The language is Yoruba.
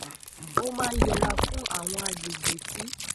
ó maa n yẹra fún awon agbegbe ti